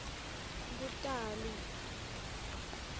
kutali